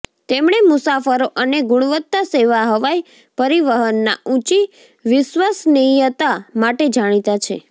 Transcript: તેમણે મુસાફરો અને ગુણવત્તા સેવા હવાઈ પરિવહનના ઊંચી વિશ્વસનીયતા માટે જાણીતા છે